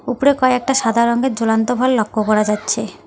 উপরে কয়েকটা সাদা রঙের ঝুলান্ত ভল লক্ষ্য করা যাচ্ছে।